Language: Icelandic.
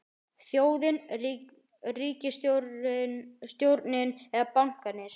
Þjóðin, ríkisstjórnin eða bankarnir?